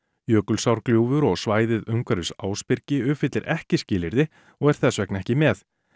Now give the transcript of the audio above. Jökulsárgljúfur og svæðið umhverfis Ásbyrgi uppfyllir ekki skilyrði og er þess vegna ekki með